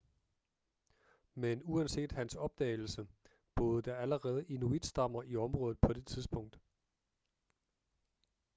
men uanset hans opdagelse, boede der allerede inuitstammer i området på det tidspunkt